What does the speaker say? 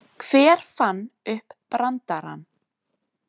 Hver fann upp brandarann?